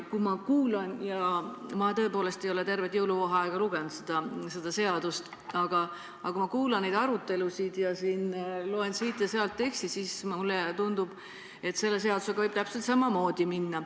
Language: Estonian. Ma tõepoolest ei ole tervet jõuluvaheaega lugenud seda seaduseelnõu, aga kui ma kuulan seda arutelu ja loen siit-sealt teksti, siis mulle tundub, et selle eelnõuga võib täpselt samamoodi minna.